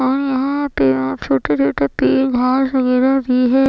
और यहां पे छोटे छोटे पेड़ घास वगैरा भी है।